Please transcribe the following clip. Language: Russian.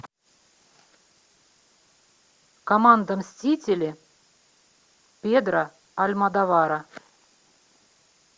команда мстители педро альмодовара